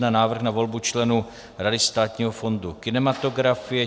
Návrh na volbu členů Rady Státního fondu kinematografie